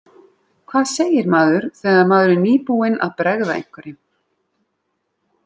Hvað segir maður þegar maður er nýbúinn að bregða einhverjum?